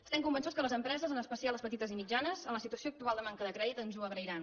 estem convençuts que les empreses especialment les petites i mitjanes en la situació actual de manca de crèdit ens ho agrairan